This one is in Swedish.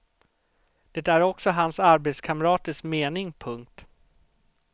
Det är också hans arbetskamraters mening. punkt